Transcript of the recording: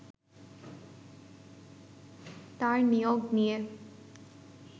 তার নিয়োগ নিয়ে